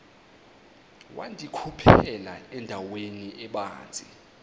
wandikhuphela endaweni ebanzi